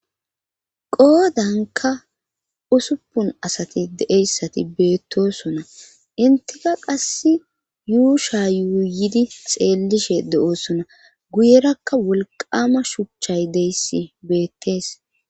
qoodanka usupun asati de7eyssati beettoosona intika qass yuusha yuuyidi xeelishe de7oosona guyerakka wolqama shuchchay deyssi beettees